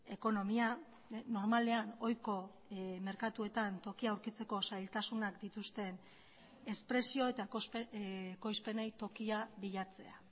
ekonomia normalean ohiko merkatuetan tokia aurkitzeko zailtasunak dituzten espresio eta ekoizpenei tokia bilatzea